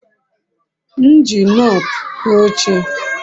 m eji nut kua oche